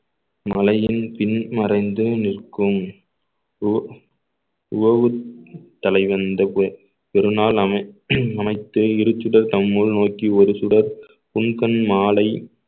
மலையின் பின் மறைந்து நிற்கும் ஓ~ ஒவ்~ தலைவன் பெருநாள் அமை~ அமைத்தே இரு சுடர் தம்முள் நோக்கி ஒரு சுடர் உன் கண் மாலை